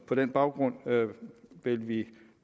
på den baggrund vil vi